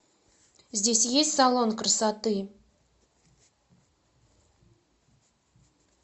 здесь есть салон красоты